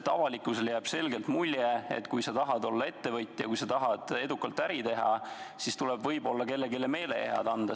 Avalikkusele jääb selgelt mulje, et kui sa tahad olla ettevõtja, kui sa tahad edukalt äri teha, siis tuleb võib-olla kellelegi meelehead anda.